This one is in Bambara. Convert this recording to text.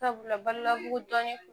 Sabula badalabugu dɔnni t'o